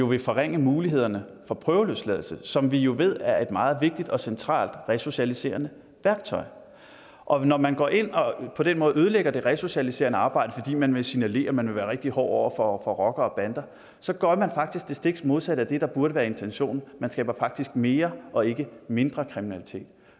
vil forringe mulighederne for prøveløsladelse som vi jo ved er et meget vigtigt og centralt resocialiserende værktøj og når man går ind og på den måde ødelægger det resocialiserende arbejde fordi man vil signalere at man vil være rigtig hård over for rockere og bander så gør man faktisk det stik modsatte af det der burde være intentionen man skaber faktisk mere og ikke mindre kriminalitet